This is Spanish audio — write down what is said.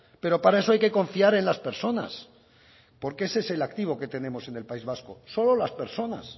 pero para eso hay que confiar en las personas porque ese es el activo que tenemos en el país vasco solo las personas